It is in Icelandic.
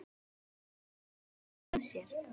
Hvað gerði hann af sér?